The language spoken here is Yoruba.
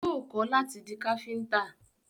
Yóò kọ́ láti di Káfíntà